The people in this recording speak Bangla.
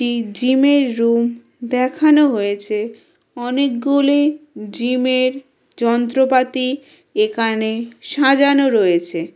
জি-জিমের রুম দেখানো হয়েছে অনেকগুলি জিমের যন্ত্রপাতি এখানে সাজানো রয়েছে।